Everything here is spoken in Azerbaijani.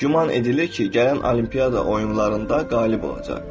Güman edilir ki, gələn olimpiya oyunlarında qalib olacaq.